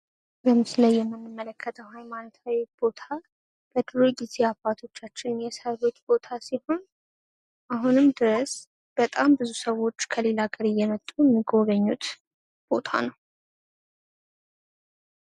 በምስሉ ላይ የምንመለከተው ሃይማኖታዊ ቦታ በድሮ ጊዜ አባቶቻችን የሰሩት ቦታ ሲሆን ፤ አሁን ድረስ ሰዎች ከሌላ ቦታ እየመጡ ይጎበኙታል።